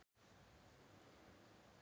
Það fer eftir því hvernig þú lítur á það.